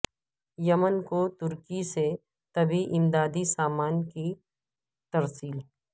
یمن کو ترکی سے طبی امدادی سامان کی ترسیل